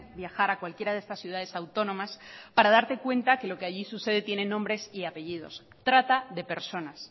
viajar a cualquiera de estas ciudades autónomas para darte cuenta que lo allí sucede tiene nombres y apellidos trata de personas